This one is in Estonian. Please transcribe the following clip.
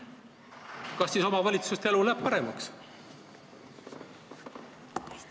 Kas siis omavalitsuste elu läheb paremaks?